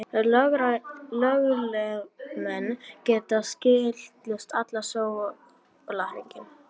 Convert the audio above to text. Lögreglumenn gæta skiltisins allan sólarhringinn